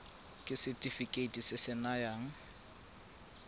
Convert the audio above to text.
ke setefikeiti se se nayang